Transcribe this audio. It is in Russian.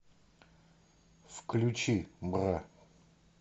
включи бра